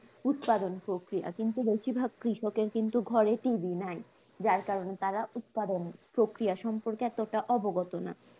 উৎপাদন প্রক্রিয়া কিন্তু বেশিরভাগ কৃষকের কিন্তু ঘরে টিভি নাই, যার কারণে তারা উৎপাদন প্রক্রিয়া সম্পর্কে এতটা অবগত না